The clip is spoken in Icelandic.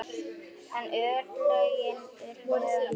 En örlögin urðu önnur.